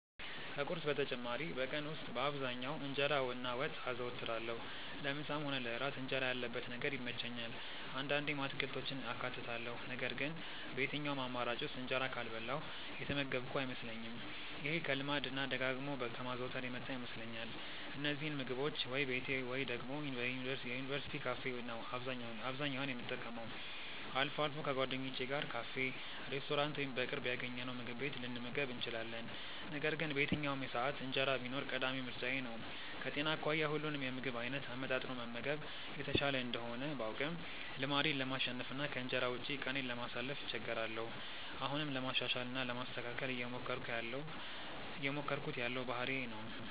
ከቁርስ በተጨማሪ በቀን ውስጥ በአብዛኛው እንጀራ እና ወጥ አዘወትራለሁ። ለምሳም ሆነ ለእራት እንጀራ ያለበት ነገር ይመቸኛል። አንዳንዴም አትክልቶችን አካትታለሁ ነገር ግን በየትኛውም አማራጭ ውስጥ እንጀራ ካልበላሁ የተመገብኩ አይመስለኝም። ይሄ ከልማድ እና ደጋግሞ ከማዘውተር የመጣ ይመስለኛል። እነዚህን ምግቦች ወይ ቤቴ ወይ ደግሞ የዩኒቨርስቲ ካፌ ነው አብዛኛውን የምጠቀመው። አልፎ አልፎ ከጓደኞቼ ጋር ካፌ፣ ሬስቶራንት ወይም በቅርብ ያገኘነውምግብ ቤት ልንመገብ እንችላለን። ነገር ግን በየትኛውም ሰዓት እንጀራ ቢኖር ቀዳሚ ምርጫዬ ነው። ከጤና አኳያ ሁሉንም የምግብ አይነት አመጣጥኖ መመገብ የተሻለ እንደሆነ ባውቅም ልማዴን ለማሸነፍ እና ከእንጀራ ውጪ ቀኔን ለማሳለፍ እቸገራለሁ። አሁንም ለማሻሻል እና ለማስተካከል እየሞከርኩት ያለው ባህሪዬ ነው።